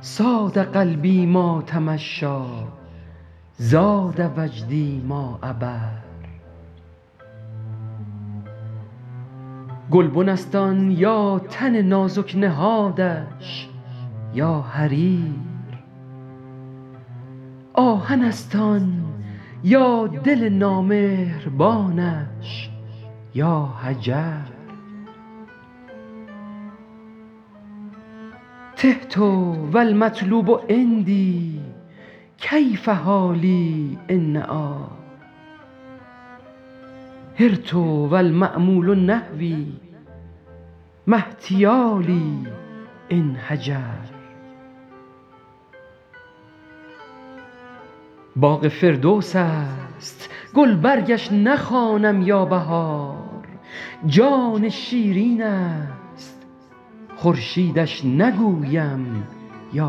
صاد قلبی ما تمشیٰ زاد وجدی ما عبر گلبن است آن یا تن نازک نهادش یا حریر آهن است آن یا دل نامهربانش یا حجر تهت و المطلوب عندی کیف حالی إن نأیٰ حرت و المأمول نحوی ما احتیالی إن هجر باغ فردوس است گلبرگش نخوانم یا بهار جان شیرین است خورشیدش نگویم یا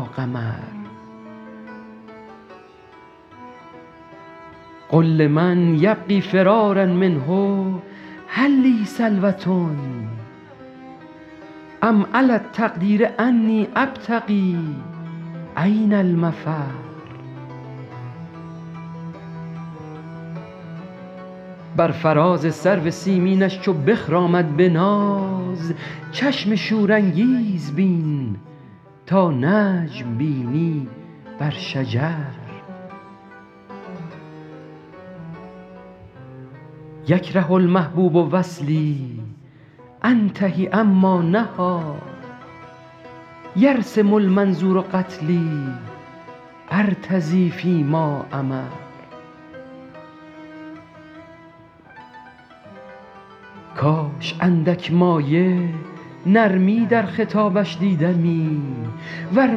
قمر قل لمن یبغی فرارا منه هل لی سلوة أم علی التقدیر أنی أبتغي أین المفر بر فراز سرو سیمینش چو بخرامد به ناز چشم شورانگیز بین تا نجم بینی بر شجر یکره المحبوب وصلی أنتهي عما نهیٰ یرسم المنظور قتلی أرتضی فی ما أمر کاش اندک مایه نرمی در خطابش دیدمی ور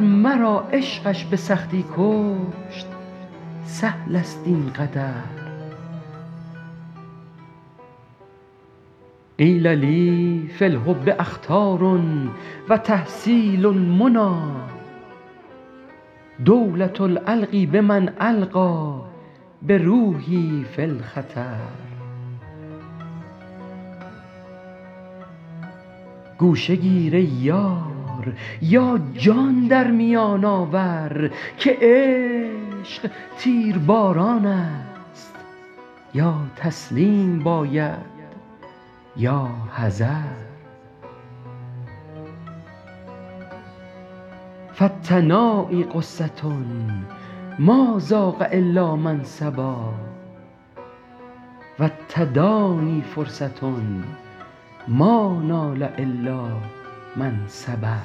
مرا عشقش به سختی کشت سهل است این قدر قیل لی فی الحب أخطار و تحصیل المنیٰ دولة ألقی بمن ألقیٰ بروحی فی الخطر گوشه گیر ای یار یا جان در میان آور که عشق تیرباران است یا تسلیم باید یا حذر فالتنایی غصة ما ذاق إلا من صبا و التدانی فرصة ما نال إلا من صبر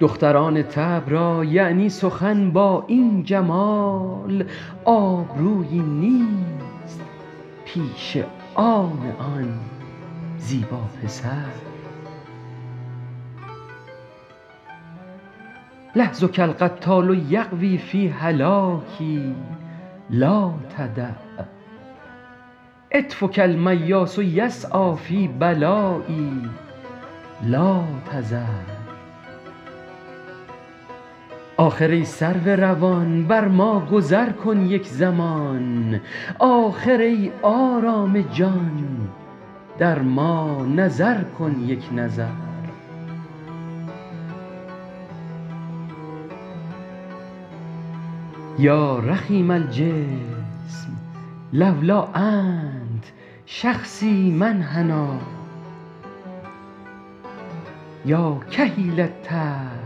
دختران طبع را یعنی سخن با این جمال آبرویی نیست پیش آن آن زیبا پسر لحظک القتال یغوی فی هلاکی لا تدع عطفک المیاس یسعیٰ فی بلایی لا تذر آخر ای سرو روان بر ما گذر کن یک زمان آخر ای آرام جان در ما نظر کن یک نظر یا رخیم الجسم لولا أنت شخصی ما انحنیٰ یا کحیل الطرف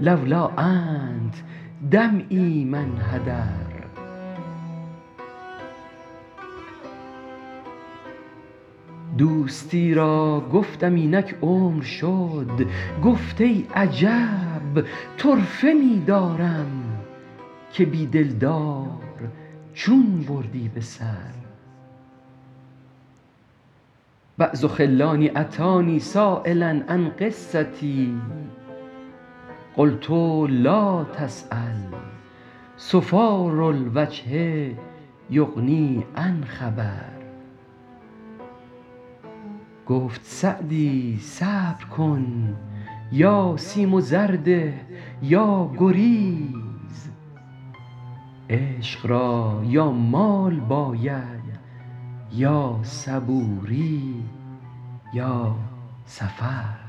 لولا أنت دمعی ما انحدر دوستی را گفتم اینک عمر شد گفت ای عجب طرفه می دارم که بی دلدار چون بردی به سر بعض خلانی أتانی سایلا عن قصتی قلت لا تسأل صفار الوجه یغنی عن خبر گفت سعدی صبر کن یا سیم و زر ده یا گریز عشق را یا مال باید یا صبوری یا سفر